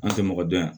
An tɛ mɔgɔ dɔn yan